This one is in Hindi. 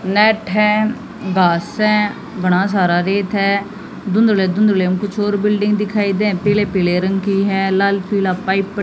नेट है घास है बड़ा सा रेत है धुंधले धुंधले कुछ और बिल्डिंग दिखाई दे पीले पीले रंग की है लाल पीला पाइप --